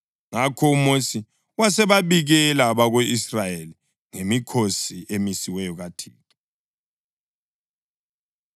Ngakho uMosi wasebabikela abako-Israyeli ngemikhosi emisiweyo kaThixo.